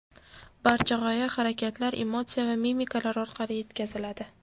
Barcha g‘oya harakatlar, emotsiya va mimikalar orqali yetkaziladi.